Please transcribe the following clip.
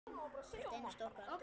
Hvert einasta okkar.